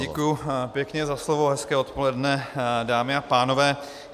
Děkujiu pěkně za slovo, hezké odpoledne, dámy a pánové.